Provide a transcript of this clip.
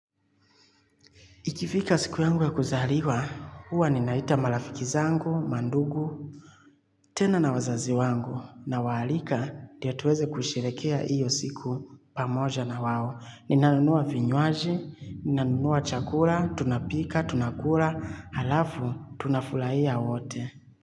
Ikifika siku yangu ya kuzaliwa, huwa ninaita marafiki zangu, mandugu, tena na wazazi wangu na waalika ndio tuweze kusherekea hiyo siku pamoja na wao. Ninanunua vinywaji, ninanunua chakula, tunapika, tunakula, halafu, tunafurahia wote.